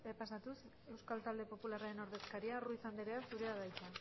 pasatuz euskal talde popularraren ordezkaria ruiz anderea zurea da hitza